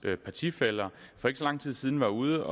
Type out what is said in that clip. partifæller for ikke så lang tid siden var ude